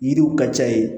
Yiriw ka ca yen